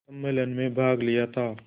सम्मेलन में भाग लिया था